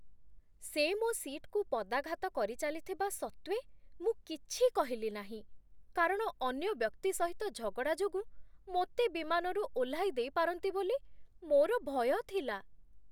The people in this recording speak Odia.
ସେ ମୋ ସିଟ୍‌କୁ ପଦାଘାତ କରିଚାଲିଥିବା ସତ୍ତ୍ୱେ ମୁଁ କିଛି କହିଲି ନାହିଁ, କାରଣ ଅନ୍ୟ ବ୍ୟକ୍ତି ସହିତ ଝଗଡ଼ା ଯୋଗୁଁ ମୋତେ ବିମାନରୁ ଓହ୍ଲାଇ ଦେଇପାରନ୍ତି ବୋଲି ମୋର ଭୟ ଥିଲା ।